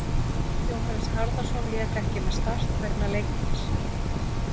Jóhannes Harðarson lék ekki með Start vegna leikbanns.